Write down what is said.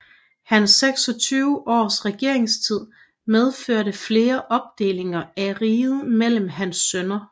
Hans 26 års regeringstid medførte flere opdelinger af riget mellem hans sønner